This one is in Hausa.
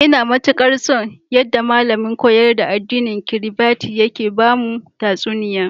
Ina matikar so, yadda malamin koyar da addinin Kiribati yake bamu tatsuniya.